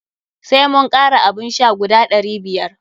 Sai mun kara abun sha guda ɗari biyar.